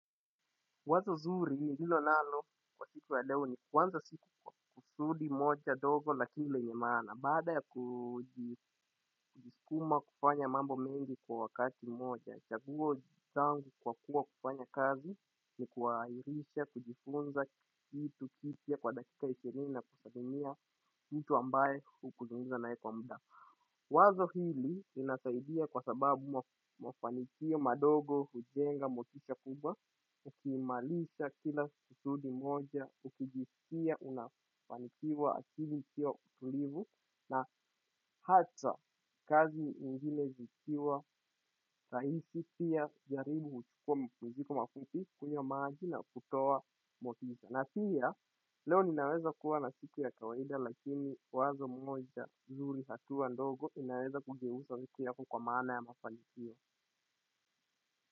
Wazo zuri hilo nalo siku ya leo ni kwanza siku kwa kusudi moja dogo lakini lenye maana. Baada ya kujisukuma kufanya mambo mengi kwa wakati mmoja chaguo ni kwa kua kufanya kazi ni kuhairisha kujifunza kitu kipya kwa dakika ishirini na kusalimia mtu ambaye hukusungumza na yeye kwa muda. Wazo hili inataidia kwa sababu mafanikio madogo, hujenga, motisha kubwa, ukimalisha kila susudi moja, ukijisikia, unafanikiwa, akili kikiwa tulivu, na hata kazi ingine zikiwa, rahiisi pia jaribu, kuchukuwa mpusiko mafuti, kunywa maji na kutowa mwotisha. Na pia leo nimeanza kuwa na siku ya kawaida lakini wazo moja mzuri hatuwa ndogo inaweza kugeusa wiki yako kwa maana ya mafanikio.